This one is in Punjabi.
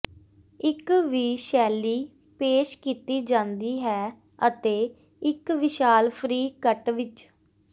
ਇੱਕ ਵੀ ਸ਼ੈਲੀ ਪੇਸ਼ ਕੀਤੀ ਜਾਂਦੀ ਹੈ ਅਤੇ ਇੱਕ ਵਿਸ਼ਾਲ ਫ੍ਰੀ ਕੱਟ ਵਿੱਚ